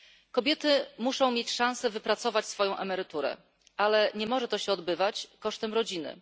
Kobiety muszą mieć szanse wypracować swoją emeryturę, ale nie może to się odbywać kosztem rodziny.